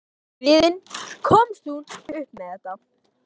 Og til að halda friðinn komst hún upp með þetta.